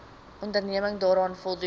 onderneming daaraan voldoen